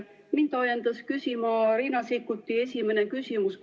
Mind ajendas küsima Riina Sikkuti esimene küsimus.